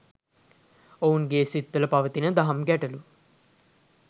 ඔවුන්ගේ සිත්වල පවතින දහම් ගැටලු